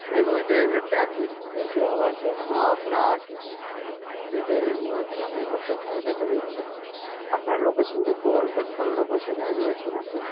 maybe ওই time এ traffic বেশি হওয়ার জন্য আপনার speed এর issue হচ্ছে আমি একবার check করে দেখে নিচ্ছি আপনার location টা একটু বলবেন, কোন location এ রয়েছেন আপনি?